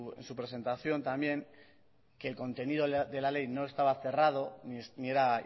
en su presentación también que el contenido de la ley no estaba cerrado ni era